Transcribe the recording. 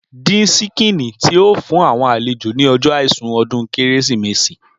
Dín síkìn tí o fún àwọn àlejò ni ọjọ àìsùn ọdún Kérésìmesì.